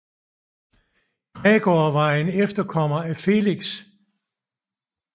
Gregor var en efterkommer af Felix